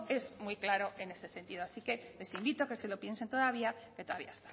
es muy claro en ese sentido amaitzen joan así que les invito a que se lo piensen todavía que todavía